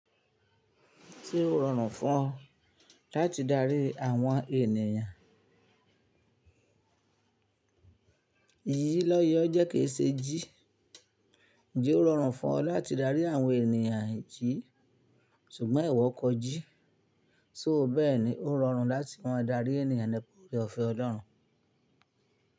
Tí ó rọrùn fún ọ láti darí àwọn ènìyàn. Iyì lọ́yẹ́ ọ jẹ́ kì í ṣe jí. Ǹjẹ́ ó rọrùn fún ọ láti darí àwọn ènìyàn jí? Ṣùgbọ́n iwọ̀ kọ jí. Só bẹ́ẹ̀ ni ó rọrùn láti máa darí ènìyàn nípa ore òfẹ́ Ọlọ́run.